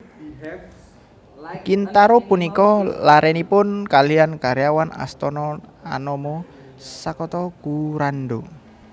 Kintaro punika larénipun kalihan karyawan astana anama Sakata Kurando